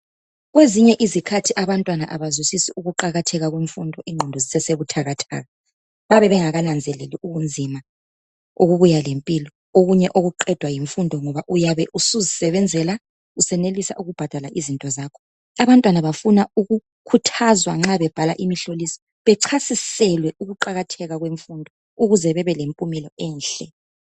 Kwezinye izikhathi abantwana abazwisisi ukuqakatheka kwemfundo ingqondo zisese buthakathaka babe bengakananzeleli ubunzima okubuya lempilo okunye okuqedwa yimfundo ngoba uyabe usuzisebenzela usenelisa ukubhadala izinto zakho. Abantwana bafuna ukukhuthazwa nxa bebhala umhloliso bechasiselwe ukuqakatheka kwemfundo ukuze bebelempumela enhle.